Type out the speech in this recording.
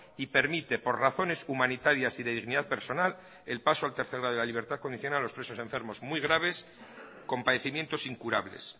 y permite por razones humanitarias y de dignidad personal el paso al tercer grado y la libertad condicional a los presos enfermos muy graves con padecimientos incurables